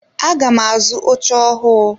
Aga m azu oche ọhụụ.